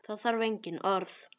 Það þarf engin orð.